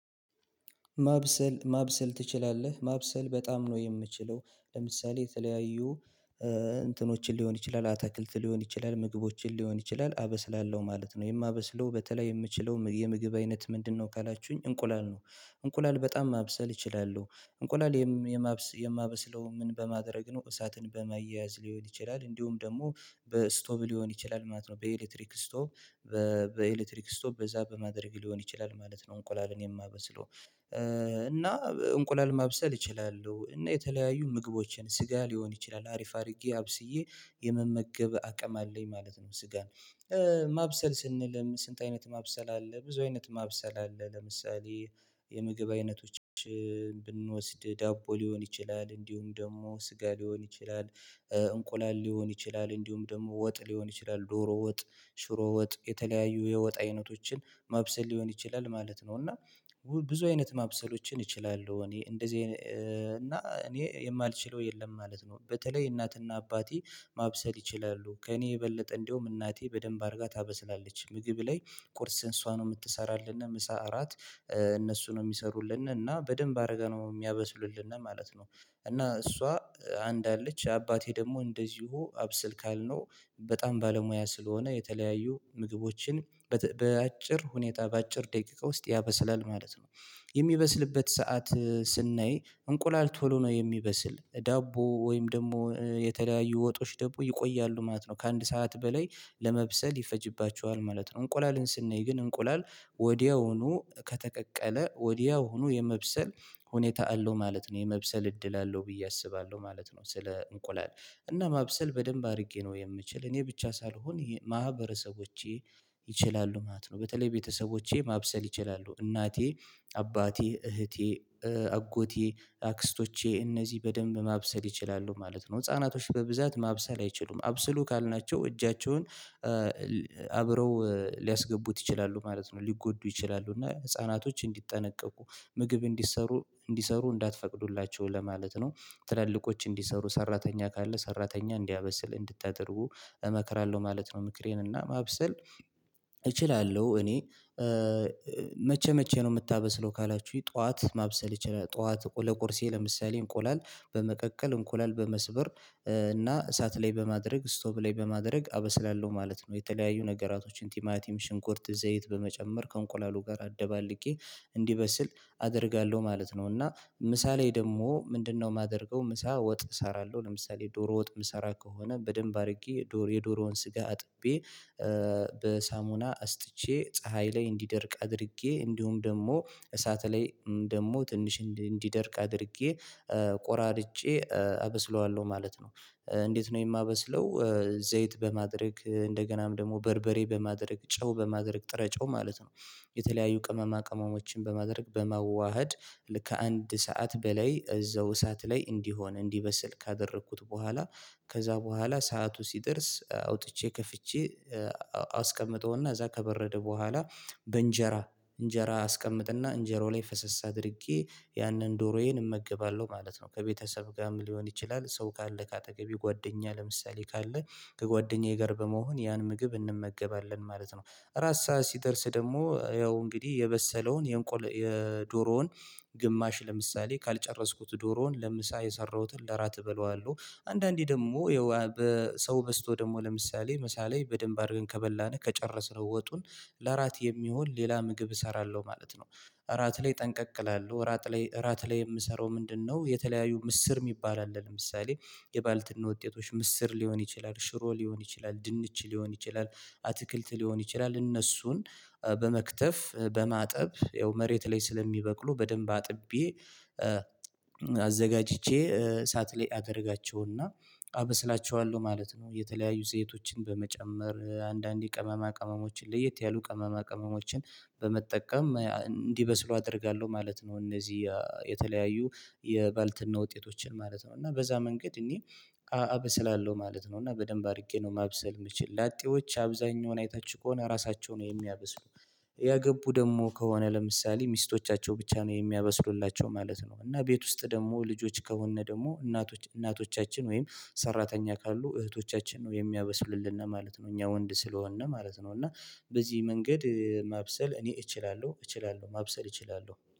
ማብሰል ማብሰል ትችላለህ ማብሰል በጣም ነው የምችለው ለምሳሌ የተለያዩ እንትኖችን ሊሆን ይችላል አትክልት ሊሆን ይችላል ምግቦችን ሊሆን ይችላል አበስላለሁ ማለት ነው። የማበስለው በተለይ የምችለው የምግብ አይነት ምንድነው? ካላችሁኝ እንቁላል ነው። እንቁላል በጣም ማብሰል እችላለው እንቁላል የማብሰ የማበስለው ምን በማድረግ ነው እሳትን በማያያዝ ሊሆን ይችላል። እንዲሁም ደግሞ በስቶብ ሊሆን ይችላል ማለት ነው። በኤሌክትሪክ ስቶፕ በኤሌክትሪክ ስቶፕ በዛ በማድረግ ሊሆን ይችላል ማለት ነው። እንቁላልን የማበስለው እና እንቁላል ማብሰል እችላለሁ እና የተለያዩ ምግቦችን ስጋ ሊሆን ይችላል አሪፍ አድርጌ አብስዬ የመመገብ አቅም አለኝ ማለት ነው። ስጋን ማብሰል ስንልም ስንት አይነት ማብሰል አለ? ብዙ አይነት ማብሰል አለ። ለምሳሌ የምግብ አይነቶች ብንወስድ ዳቦ ሊሆን ይችላል እንዲሁም ደግሞ ስጋ ሊሆን ይችላል። እንቁላል ሊሆን ይችላል እንዲሁም ደግሞ ወጥ ሊሆን ይችላል ዶሮ ወጥ ሽሮ ወጥ የተለያዩ የወጥ አይነቶችን ማብሰል ሊሆን ይችላል ማለት ነው። እና ብዙ አይነት ማብሰሎችን እችላለሁ። እኔ እንደዚህ እና እኔ የማልችለው የለም ማለት ነው። በተለይ እናትና አባቴ ማብሰል ይችላሉ ከእኔ የበለጠ እንዴውም እናቴ በደንብ አድርጋ ታበስላለች ምግብ ላይ ቁርስ እሷ ነው የምትሰራልነ ምሳ እራት እነሱ ነው የሚሰሩልን እና በደንብ አርገ ነው የሚያበስሉልነ ማለት ነው። እና እሷ አንድ አለች አባቴ ደግሞ እንደዚሁ አብስል ካልነው በጣም ባለሙያ ስለሆነ የተለያዩ ምግቦችን በተ በአጭር ሁኔታ በአጭር ደቂቃ ውስጥ ያበስላል ማለት ነው። የሚበስልበት ሰዓት ስናይ እንቁላል ቶሎ ነው የሚበስል ዳቦ ወይም ደግሞ የተለያዩ ወጦች ደሞ ይቆያሉ ማለት ነው። ከአንድ ሰዓት በላይ ለመብሰል ይፈጅባቸዋል ማለት ነው። እንቁላልን ስናይ ግን እንቁላል ወዲያውኑ ከተቀቀለ ወዲያው ሆኖ የመብሰል ሁኔታ አለው ማለት ነው። የመብሰል እድል አለው ብየ አስባለሁ ማለት ነው። ስለ እንቁላል እና ማብሰል በደንብ አድርጌ ነው የምችል እኔ ብቻ ሳልሆን ማህበረሰቦቼ ይችላሉ ማለት ነው። በተለይ ቤተሰቦቼ ማብሰል ይችላሉ እናቴ አባቴ እህቴ አጎቴ አክስቶቼ እነዚህ በደንብ ማብሰል ይችላሉ ማለት ነው። ህፃናቶች በብዛት ማብሰል አይችሉም አብስሉ ካልናቸው እጃቸውን አብረው ሊያስገቡት ይችላሉ ማለት ነው። ሊጎዱ ይችላሉ እና ህፃናቶች እንዲጠነቀቁ ምግብ እንዲሰሩ እንዲሰሩ እንዳትፈቅዱላቸው ለማለት ነው። ትላልቆች እንዲሰሩ ሰራተኛ ካለ ሰራተኛ እንዲያበስል እንድታደርጉ እመክራለሁ ማለት ነው። ምክሬን እና ማብሰል እችላለሁ እኔ። መቼ መቼ ነው የምታበስለው ካላችሁኝ? ጠዋት ማብሰል ይችላል ጠዋት ለቁርሴ ለምሳሌ እንቁላል በመቀቀል እንቁላል በመስበር እና እሳት ላይ በማድረግ ስቶብ ላይ በማድረግ አበስላለሁ ማለት ነው። የተለያዩ ነገራቶችን ቲማቲም ሽንኩርት ዘይት በመጨመር ከእንቁላሉ ጋር አደባልቄ እንዲበስል አደርጋለሁ ማለት ነው። እና ምሳ ላይ ደግሞ ምንድነው? የማደርገው ምሳ ወጥ እሰራለሁ ለምሳሌ ዶሮ ወጥ ምሰራ ከሆነ በደንብ አድርጌ ዶሮ የዶሮውን ስጋ አጥቤ በሳሙና አስጥቼ ፀሀይ ላይ እንዲደርቅ አድርጌ እንዲሁም ደግሞ እሳት ላይ ደግሞ ትንሽ እንዲደርቅ አድርጌ ቆራርጬ አበስለዋለሁ ማለት ነው። እንዴት? ነው የማበስለው ዘይት በማድረግ እንደገናም ደግሞ በርበሬ በማድረግ ጨው በማድረግ ጥረ ጨው ማለት ነው። የተለያዩ ቅመማ ቅመሞችን በማድረግ በመዋሃድ ልክ አንድ ሰዓት በላይ እዛው እሳት ላይ እንዲሆን እንዲበስል ካደረኩት በኋላ ከዛ በኋላ ሰዓቱ ሲደርስ አውጥቼ ከፍቼ አስቀምጠውና እዛ ከበረደ በኋላ በእንጀራ እንጀራ አስቀምጥና እንጀራው ላይ ፈሰስ አድርጌ ያንን ዶሮዬን እመግባለሁ ማለት ነው። ከቤተሰብጋም ሊሆን ይችላል ሰው ካለ ከአጠገቤ ጓደኛ ለምሳሌ ካለ ከጓደኛ ጋር በመሆን ያን ምግብ እንመገባለን ማለት ነው። ራስ ሰዓት ሲደርስ ደግሞ ያው እንግዲህ የበሰለውን የእንቆል የዶሮውን ግማሽ ለምሳሌ ካልጨረስኩት ዶሮውን ለምሳ የሰራሁትን ለራት እበለዋለሁ አንዳንዴ ደግሞ በሰው በዝቶ ደግሞ ለምሳሌ ምሳ ላይ በደንብ አድርገን ከበላነ ከጨረስነው ወጡን ለእራት የሚሆን ሌላ ምግብ እሰራለሁ ማለት ነው። እራት ላይ ጠንቀቅ እላለሁ እራት ላይ ራት ላይ የምሰራው ምንድነው? የተለያዩ ምስር የሚባል አለ ለምሳሌ የባልትና ውጤቶች ምስር ሊሆን ይችላል ሽሮ ሊሆን ይችላል ድንች ሊሆን ይችላል አትክልት ሊሆን ይችላል እነሱን በመክተፍ በማጠብ ይኸው መሬት ላይ ስለሚበቅሉ በደንብ አጥቤ አዘጋጅቼ ሳት ለይ አደርጋቸውና አበስላቸዋለሁ ማለት ነው። የተለያዩ ዘይቶችን በመጨመር አንዳንዴ ቅመማ ቅመሞችን ለየት ያሉ ቅመማ ቅመሞችን በመጠቀም እንዲበስሉ አደርጋለሁ ማለት ነው። እነዚህ የተለያዩ የባልትና ውጤቶችን ማለት ነው እና በዛ መንገድ እኔ አበስላለሁ ማለት ነው። እና በደንብ አድርጌ ነው ማብሰል የምችል ላጤዎች አብዛኛውን አይታችሁ ከሆነ ራሳቸው ነው የሚያበስሉ። ያገቡ ደግሞ ከሆነ ለምሳሌ ሚስቶቻቸው ብቻ ነው የሚያበስሉላቸው ማለት ነው። እና ቤት ውስጥ ደግሞ ልጆች ከሆነ ደግሞ እናቶች እናቶቻችን ወይም ሰራተኛ ካሉ እህቶቻችን ነው የሚያበስሉልነ ማለት ነው። እኛው ወንድ ስለሆነ ማለት ነው። እና በዚህ መንገድ ማብሰል እኔ እችላለሁ እችላለሁ ማብሰል እችላለሁ